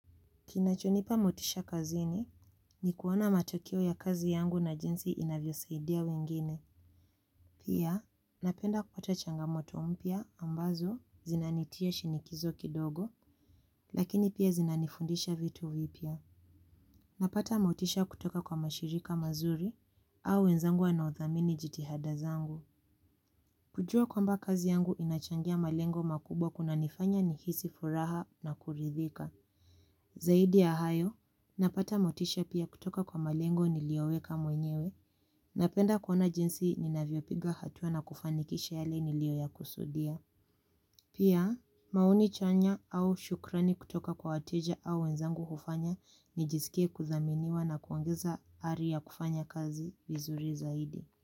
Kinachonipa motisha kazini, ni kuona matokeo ya kazi yangu na jinsi inavyosaidia wengine. Pia, napenda kupata changamoto mpya ambazo zinanitia shinikizo kidogo, lakini pia zinanifundisha vitu vipya. Napata motisha kutoka kwa mashirika mazuri au wenzangu wanaothamini jitihada zangu. Kujua kwamba kazi yangu inachangia malengo makubwa kunanifanya nihisi furaha na kuridhika. Zaidi ya hayo, napata motisha pia kutoka kwa malengo niliyoweka mwenyewe, napenda kuona jinsi ninavyopiga hatua na kufanikisha yale nilioyakusudia. Pia, maoni chanya au shukrani kutoka kwa wateja au wenzangu hufanya, nijisikie kuthaminiwa na kuongeza ari ya kufanya kazi vizuri zaidi.